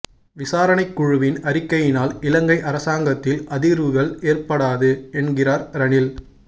விசாரணைக் குழுவின் அறிக்கையினால் இலங்கை அரசாங்கத்தில் அதிர்வுகள் ஏற்படாது என்கிறார் ரணில்